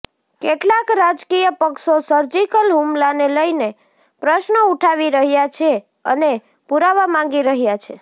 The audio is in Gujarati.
કેટલાક રાજકીય પક્ષો સર્જિકલ હુમલાને લઈને પ્રશ્નો ઉઠાવી રહૃાા છે અને પુરાવા માંગી રહૃાા છે